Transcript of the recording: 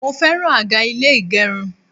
Mo fẹ́ràn àga ilé ìgẹrun.